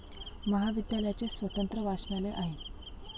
महाविद्यालयाचे स्वतंत्र वाचनालय आहे.